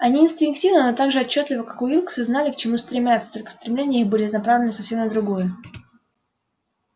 они инстинктивно но так же отчётливо как уилксы знали к чему стремятся только стремления их были направлены совсем на другое